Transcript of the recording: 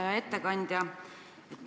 Hea ettekandja!